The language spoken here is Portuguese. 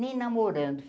Me namorando.